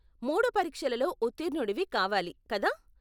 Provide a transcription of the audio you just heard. మూడు పరీక్షలలో ఉత్తీర్ణుడివి కావాలి, కదా?